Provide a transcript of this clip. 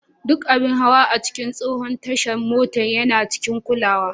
Duk abin hawa a cikin tsohon tashar mota yana cikin kulawa.